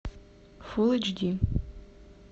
фул эйч ди